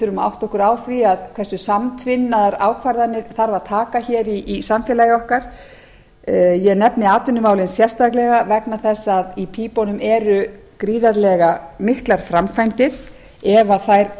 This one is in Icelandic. að átta okkur á því hversu samtvinnaðar ákvarðanir þarf að taka hér í samfélagi okkar ég nefni atvinnumálin sérstaklega vegna þess að í pípunum eru gríðarlega miklar framkvæmdir ef þær